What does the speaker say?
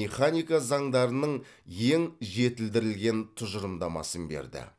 механика заңдарының ең жетілдірілген тұжырымдамасын берді